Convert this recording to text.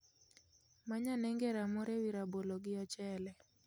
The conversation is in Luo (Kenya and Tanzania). Many ane ngera moro e wi rabolo gi ochele